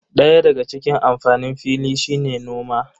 Daya daga cikin amfanin fili shine noma.